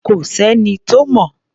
Kò s’ẹ́ni tó mọ̀.